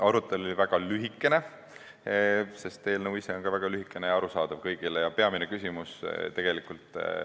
Arutelu oli väga lühike, sest eelnõu ise on ka väga lühike ja kõigile arusaadav.